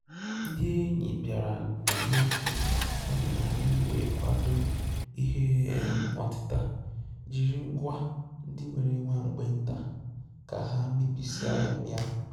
Ndị́ ényì bìàrà um n’ógè, yá mèrè ànyị́ wèé kwàdò ìhè um ótị́tà jírí ngwá ndị́ nwéré nwá mgbe ntá ká hà mébíé sìé um yá.